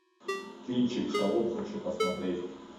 кинчик шалом хочу посмотреть